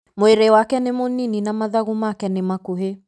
Mwĩrĩ wake nĩ mũnini na mathagu make nĩ makuhĩ